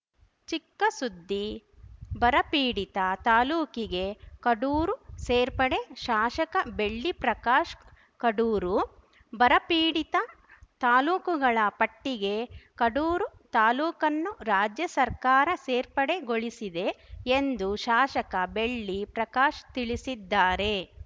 ಚಿಕ್ಕ ಸುದ್ದಿ ಬರಪೀಡಿತ ತಾಲೂಕಿಗೆ ಕಡೂರು ಸೇರ್ಪಡೆ ಶಾಶಕ ಬೆಳ್ಳಿ ಪ್ರಕಾಶ್‌ ಕಡೂರು ಬರಪೀಡಿತ ತಾಲೂಕುಗಳ ಪಟ್ಟಿಗೆ ಕಡೂರು ತಾಲೂಕನ್ನು ರಾಜ್ಯ ಸರ್ಕಾರ ಸೇರ್ಪಡೆಗೊಳಿಸಿದೆ ಎಂದು ಶಾಶಕ ಬೆಳ್ಳಿ ಪ್ರಕಾಶ್‌ ತಿಳಿಸಿದ್ದಾರೆ